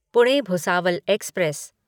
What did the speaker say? Pune Bhusawal express